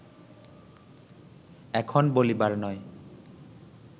এখন বলিবার নয়